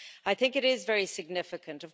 I think it is very significant.